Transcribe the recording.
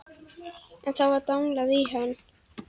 En þá var danglað í hann.